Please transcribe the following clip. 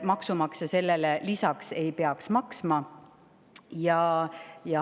Maksumaksja sellele lisaks ei peaks maksma.